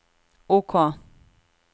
OK